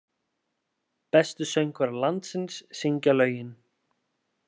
Bestu söngvarar landsins syngja lögin